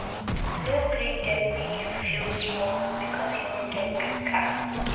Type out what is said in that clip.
No gree dem make you feel small because you no get big car.